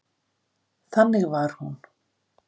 Þannig var hún.